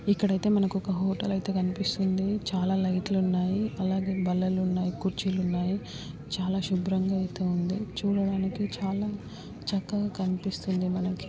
ఇక్కడైతే మనకు ఒక హోటల్ అయితే కనిపిస్తుంది. చాలా లైట్ లు ఉన్నాయి. అలానే బల్లలు ఉన్నాయి. కుర్చీలు ఉన్నాయి. చాలా శుభ్రంగా అయితే ఉంది. చూడ్డానికి చాలా చక్కగా కనిపిస్తుంది మనకి.